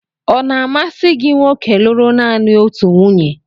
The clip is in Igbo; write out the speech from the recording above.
Ọ̀ na-amasị gị nwoke lụrụ nanị otu nwunye?